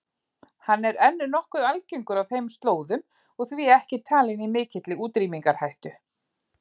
Hann er enn nokkuð algengur á þeim slóðum og því ekki talinn í mikilli útrýmingarhættu.